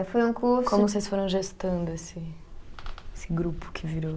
Foi um curso. Como vocês foram gestando esse, esse grupo que virou?